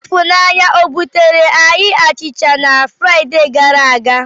Ifunanya o buteere anyị achịcha na Fraịdee gara aga?